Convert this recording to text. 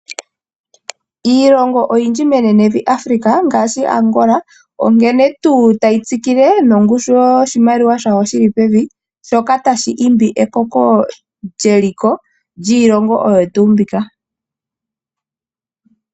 Iilongo oyindji menenevi Africa, ngaashi Angola onkene tuu tayi tsikikile nongushu yoshimaliwa shayo shili pevi, shoka ta shi imbi ekoko lyeliko lyiilongo oyo tuu mbika.